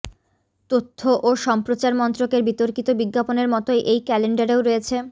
তথ্য ও সম্প্রচার মন্ত্রকের বিতর্কিত বিজ্ঞাপনের মতই এই ক্যালেন্ডারেও রয়েছে